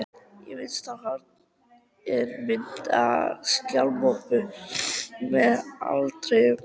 Í vinstra horni er mynd af skjalamöppu með áletruninni